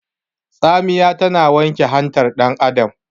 Tsamiya tana wanke hantar dan Adam